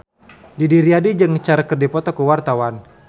Didi Riyadi jeung Cher keur dipoto ku wartawan